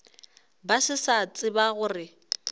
ba se sa tseba gore